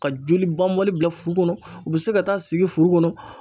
Ka joli banbali bila furu kɔnɔ u bɛ se ka taa sigi furu kɔnɔ